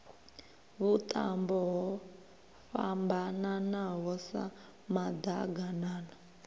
vhuṱambo ho fhambananaho sa maḓaganana